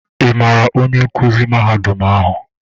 Ị maara onye nkuzi mahadum ahụ?